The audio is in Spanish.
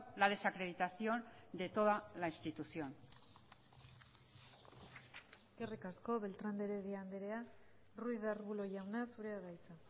la desacreditación de toda la institución eskerrik asko beltrán de heredia andrea ruiz de arbulo jauna zurea da hitza